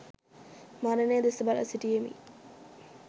මරණය දෙස බලා සිටියෙමි.